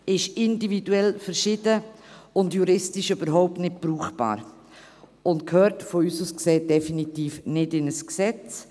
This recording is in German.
es ist individuell verschieden, juristisch überhaupt nicht brauchbar und gehört aus unserer Sicht definitiv nicht in ein Gesetz.